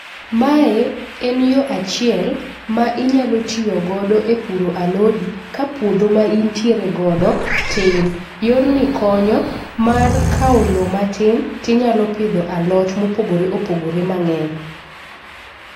Mae en yo achiel ma inyalo tiyo godo e puro alodi ka puodho ma intiere godo tin. Yorni konyo ,mar kawo lowo matin to inyalo pidho alot mopogore opogore mang'eny.